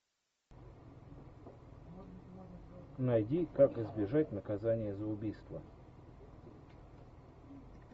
найди как избежать наказания за убийство